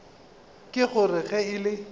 ka gore ge e le